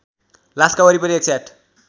लासका वरिपरि १०८